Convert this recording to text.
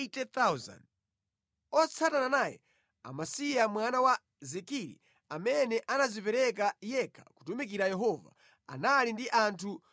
otsatana naye, Amasiya mwana wa Zikiri amene anadzipereka yekha kutumikira Yehova, anali ndi anthu 200,000.